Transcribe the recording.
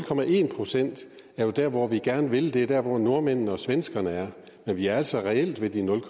procent er jo der hvor vi gerne vil hen det er der hvor nordmændene og svenskerne er men vi er altså reelt ved de nul